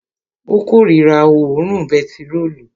Ó korira òórùn bentiróòlù